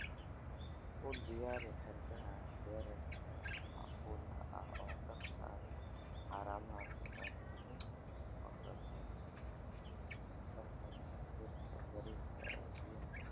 U diyaari xargaha dhererka macquulka ah oo ka saar haramaha si aad uga fogaato tartanka dhirta bariiska ee biyaha.